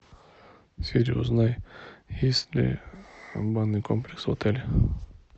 сири узнай есть ли банный комплекс в отеле